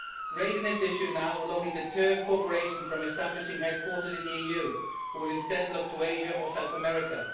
Raising this issue now will only deter corporations from establishing headquarters in the EU, and they will instead look to Asia or South America.